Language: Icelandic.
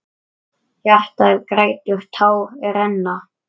Hjartað grætur, tár renna.